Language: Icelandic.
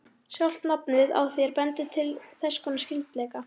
Sjálft nafnið á þér bendir til þess konar skyldleika.